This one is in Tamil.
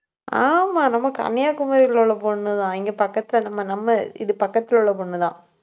ஆமா, நம்ம கன்னியாகுமரியில உள்ள பொண்ணுதான் இங்க பக்கத்துல நம்ம நம்ம இது பக்கத்துல உள்ள பொண்ணுதான்.